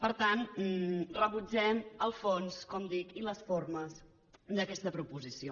per tant rebutgem el fons com dic i les formes d’aquesta proposició